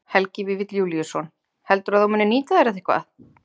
Helgi Vífill Júlíusson: Heldurðu að þú munir nýta þér þetta eitthvað?